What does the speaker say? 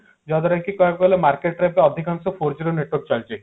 ଯାହା ଦ୍ଵାରା କି କହିବାକୁ ଗଲେ market ରେ ଅଧିକାଂଶ four G ର network ଚାଲିଛି